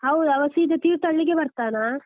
ಹೌದಾ, ಅವ ಸೀದ ತೀರ್ಥಹಳ್ಳಿಗೇ ಬರ್ತಾನಾ?